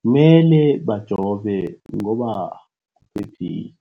kumele bajove ngoba kuphephile.